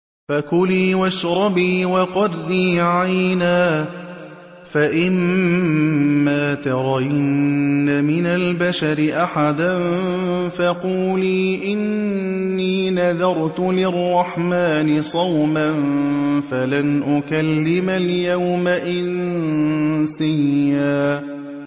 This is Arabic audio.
فَكُلِي وَاشْرَبِي وَقَرِّي عَيْنًا ۖ فَإِمَّا تَرَيِنَّ مِنَ الْبَشَرِ أَحَدًا فَقُولِي إِنِّي نَذَرْتُ لِلرَّحْمَٰنِ صَوْمًا فَلَنْ أُكَلِّمَ الْيَوْمَ إِنسِيًّا